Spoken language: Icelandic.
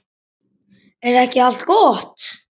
Er ekki allt gott?